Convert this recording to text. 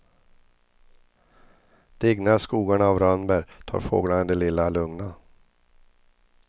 Dignar skogarna av rönnbär tar fåglarna det lilla lugna.